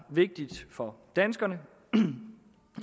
vigtigt for danskerne